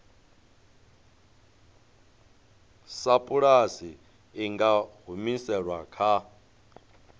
sapulasi i nga humiselwa kha